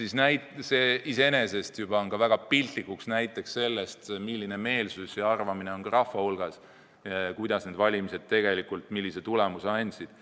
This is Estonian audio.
Juba see iseenesest on väga piltlik näide, milline meelsus on rahva hulgas, mida arvab rahvas sellest, kuidas need valimised tegelikult sellise tulemuse andsid.